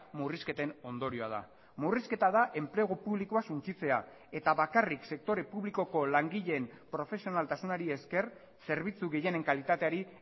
murrizketen ondorioa da murrizketa da enplegu publikoa suntsitzea eta bakarrik sektore publikoko langileen profesionaltasunari esker zerbitzu gehienen kalitateari